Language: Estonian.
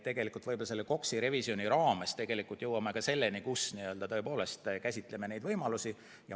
Tegelikult võib-olla KOKS-i revisjoni raames jõuame ka selleni, et me tõepoolest käsitleme neid võimalusi.